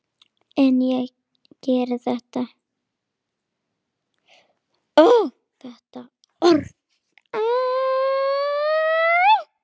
En ég geri ekkert núna.